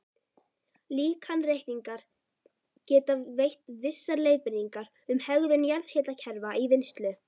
Líkanreikningar geta veitt vissar leiðbeiningar um hegðun jarðhitakerfa í vinnslu.